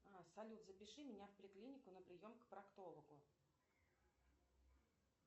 салют запиши меня в поликлинику на прием к проктологу